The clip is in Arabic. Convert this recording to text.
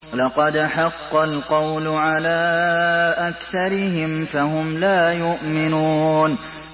لَقَدْ حَقَّ الْقَوْلُ عَلَىٰ أَكْثَرِهِمْ فَهُمْ لَا يُؤْمِنُونَ